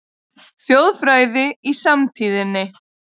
Þjóðfræði í samtíðinni